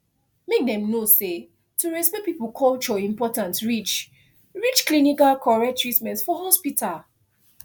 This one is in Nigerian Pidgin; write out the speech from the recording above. make dem know say to respect people culture important reach reach clinical correct treatment for hospital